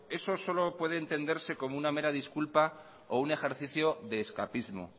eso solo puede entenderse como una mera disculpa o un ejercicio de escapismo